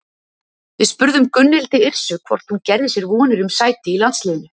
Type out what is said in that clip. Við spurðum Gunnhildi Yrsu hvort hún gerði sér vonir um sæti í landsliðinu?